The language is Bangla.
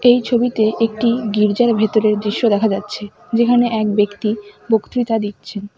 এই ছবিতে একটি গির্জার ভেতরের দৃশ্য দেখা যাচ্ছে যেখানে এক ব্যক্তি বক্তৃতা দিচ্ছেন।